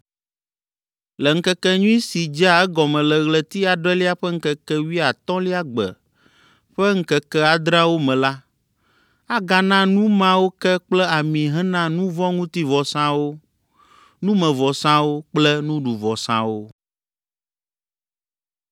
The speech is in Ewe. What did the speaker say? “ ‘Le ŋkekenyui si dzea egɔme le ɣleti adrelia ƒe ŋkeke wuiatɔ̃lia gbe ƒe ŋkeke adreawo me la, agana nu mawo ke kple ami hena nu vɔ̃ ŋuti vɔsawo, numevɔsawo kple nuɖuvɔsawo.’ ”